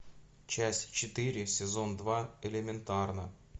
часть четыре сезон два элементарно